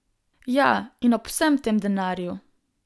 Ja, in ob vsem tem denarju.